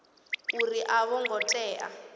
uri a vho ngo tea